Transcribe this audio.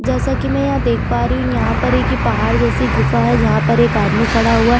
जैसा की मै यहाँ देख पा रही हू यहाँ पर ये पहाड़ जैसी गुफा है जहाँ पर एक आदमी खड़ा हुआ है।